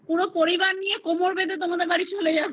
পরিবার নিয়ে কোমর বেঁধে তোমাদের বাড়িতে চলে যাবো